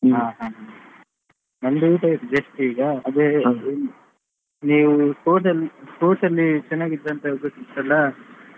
ಹಾ ಹಾ ನಂದು ಊಟ ಆಯ್ತು just ಈಗ, ಅದೇ ನೀವು sports ಅಲ್ಲಿ sports ಅಲ್ಲಿ ಚೆನ್ನಾಗಿದ್ರಿ ಅಂತ ಹೇಳಿದ್ರಲ್ಲ .